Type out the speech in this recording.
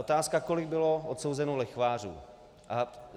Otázka - kolik bylo odsouzeno lichvářů.